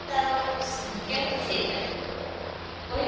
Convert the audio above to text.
ତାର କେମିତି ସେଇଟା କହିପାରିବୁ